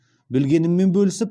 білгеніммен бөлісіп